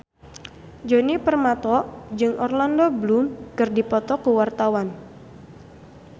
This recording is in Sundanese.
Djoni Permato jeung Orlando Bloom keur dipoto ku wartawan